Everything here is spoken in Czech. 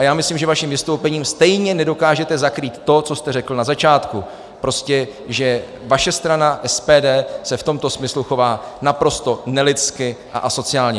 A já myslím, že svým vystoupením stejně nedokážete zakrýt to, co jste řekl na začátku, prostě že vaše strana SPD se v tomto smyslu chová naprosto nelidsky a asociálně.